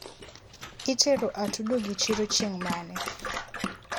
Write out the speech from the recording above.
itero atudogi chiro chiengmane?